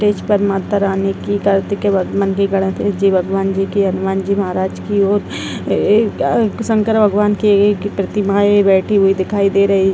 stage पर माता रानी की मंदिर भगवान जी की हनुमान जी महाराज की और एक अ शंकर भगवान की एक प्रतिमाएं बैठी हुई दिखाई दे रही --